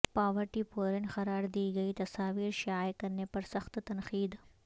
poverty porn قرار دی گئی تصاویر شائع کرنے پر سخت تنقید